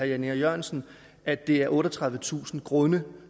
jan e jørgensen at det er otteogtredivetusind grunde